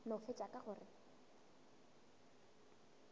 no fetša ka go re